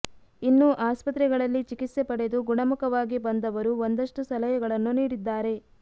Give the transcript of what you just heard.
ಇನ್ನು ಆಸ್ಪತ್ರೆಗಳಲ್ಲಿ ಚಿಕಿತ್ಸೆ ಪಡೆದು ಗುಣಮುಖವಾಗಿ ಬಂದವರು ಒಂದಷ್ಟು ಸಲಹೆಗಳನ್ನು ನೀಡಿದ್ದಾರೆ